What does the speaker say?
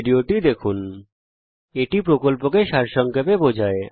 httpspoken tutorialorgWhat is a spoken tutorial এটি কথ্য tutorial প্রকল্পকে সংক্ষেপে বোঝায়